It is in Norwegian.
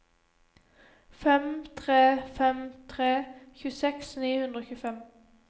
fem tre fem tre tjueseks ni hundre og tjuefem